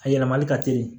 A yɛlɛmali ka teli